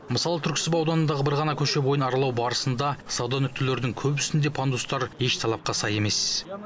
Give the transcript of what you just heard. мысалы түрксіб ауданындағы бір ғана көше бойын аралау барысында сауда нүктелерінің көбісінде пандустар еш талапқа сай емес